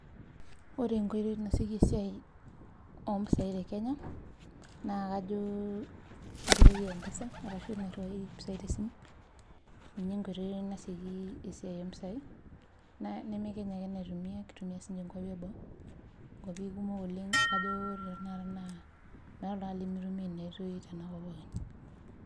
ore enkotoi nasieki esiai oo impisai tolosho lekenya naa kajo enkoitoi empesa ashu te simu ninye enkoitoi naitumiyai neme kenya ake kitii siiniche inkwapi eboo inkwapi kumok oleng neeku meeta oltungani limitumiya.